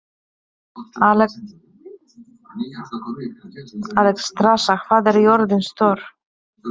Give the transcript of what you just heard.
Alexstrasa, hvað er jörðin stór?